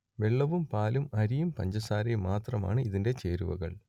വെള്ളവും പാലും അരിയുംപഞ്ചസാരയും മാത്രമാണ് ഇതിന്റെ ചേരുവകൾ